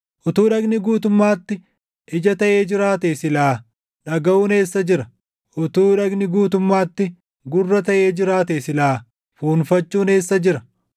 Utuu dhagni guutumaatti ija taʼee jiraatee silaa dhagaʼuun eessa jira? Utuu dhagni guutumaatti gurra taʼee jiraatee silaa fuunfachuun eessa jira?